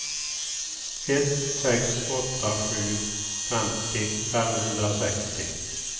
ett sex åtta sju femtio femhundrasextio